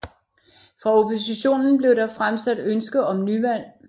Fra oppositionen blev der fremsat ønske om nyvalg